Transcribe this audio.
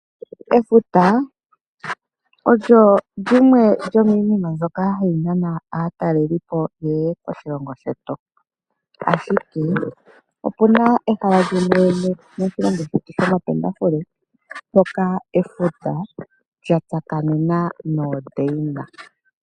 Efuta olyo lyimwe lyomiinima ndjoka hayi nana aatalelipo yeye moshilongo shetu, ashike opuna ehala limwe moshilongo shetu shomapendafule mpoka efuta lya tsakanena noondeina.